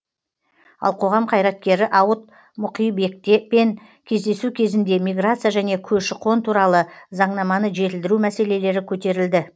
ал қоғам қайраткері ауыт мұқибекпен кездесу кезінде миграция және көші қон туралы заңнаманы жетілдіру мәселелері көтерілді